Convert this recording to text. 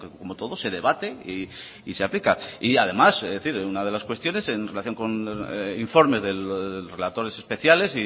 como todo se debate y se aplica además he de decir que una de las cuestiones en relación con los informes relatores especiales